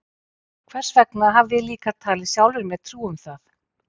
Hvers vegna hafði ég líka talið sjálfri mér trú um það?